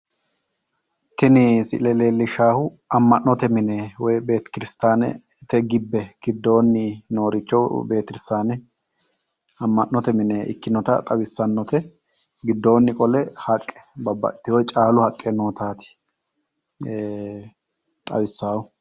Tini siile leellishshaahu amma'note mine woy betekirstaanete gibbe giddoonni nooricho betekirstaane amma'note mine ikkinota xawissannote giddoonni qole haqqe babbaxxeyo caalu haqqe nootaati xawissaahu.